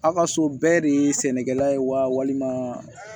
A ka so bɛɛ de ye sɛnɛkɛla ye wa walima